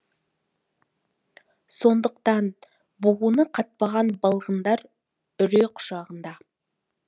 сондықтан буыны қатпаған балғындар үрей құшағында